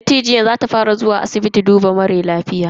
Dattijuwan za ta fara zuwa asibiti duba lafiyan ta a sati na gaba.